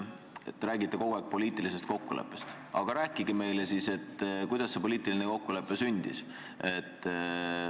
Te räägite kogu aeg poliitilisest kokkuleppest, aga rääkige siis ka, kuidas see poliitiline kokkulepe sündis.